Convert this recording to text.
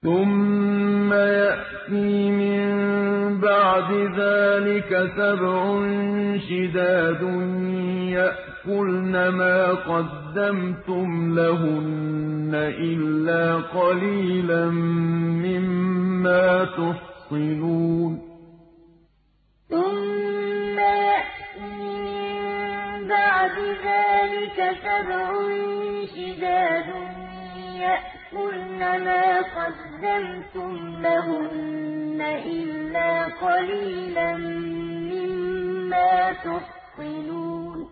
ثُمَّ يَأْتِي مِن بَعْدِ ذَٰلِكَ سَبْعٌ شِدَادٌ يَأْكُلْنَ مَا قَدَّمْتُمْ لَهُنَّ إِلَّا قَلِيلًا مِّمَّا تُحْصِنُونَ ثُمَّ يَأْتِي مِن بَعْدِ ذَٰلِكَ سَبْعٌ شِدَادٌ يَأْكُلْنَ مَا قَدَّمْتُمْ لَهُنَّ إِلَّا قَلِيلًا مِّمَّا تُحْصِنُونَ